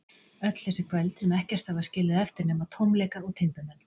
Öll þessi kvöld, sem ekkert hafa skilið eftir nema tómleika og timburmenn.